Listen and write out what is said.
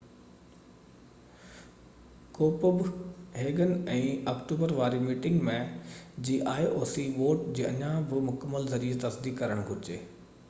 ڪوپب هيگن ۾ آڪٽوبر واري meeting ۾ vote جي اڃا بہ مڪمل ioc جي ذريعي تصديق ڪرڻ گهرجي